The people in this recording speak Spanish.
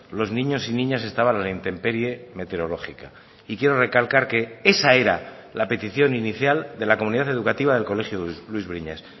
los niños y niñas estaban a la intemperie meteorológica y quiero recalcar que esa era la petición inicial de la comunidad educativa del colegio luis briñas